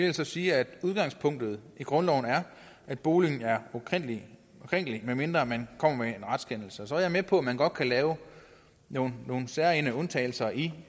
altså sige at udgangspunktet i grundloven er at boligen er ukrænkelig medmindre man kommer med en retskendelse så er jeg med på at man godt kan lave nogle særegne undtagelser i